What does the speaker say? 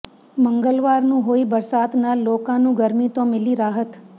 ਮੰਗਲਵਾਰ ਨੂੰ ਹੋਈ ਬਰਸਾਤ ਨਾਲ ਲੋਕਾਂ ਨੂੰ ਗਰਮੀ ਤੋਂ ਮਿਲੀ ਰਾਹਤ